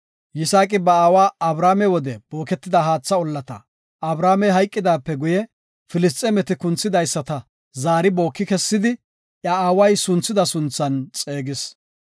Yisaaqi ba aawa Abrahaame wode booketida haatha ollata, Abrahaamey hayqidaape guye, Filisxeemeti kunthidaysata zaari booki kessidi, iya aaway sunthida sunthan xeegis.